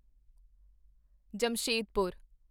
Jamshedpur